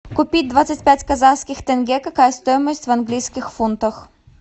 купить двадцать пять казахских тенге какая стоимость в английских фунтах